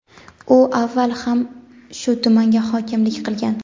U avval ham shu tumanga hokimlik qilgan.